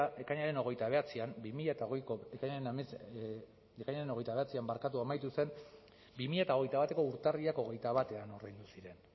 epea ekainaren hogeita bederatzian bi mila hogeiko ekainaren hogeita bederatzian amaitu zen bi mila hogeita bateko urtarrilak hogeita batean ordaindu ziren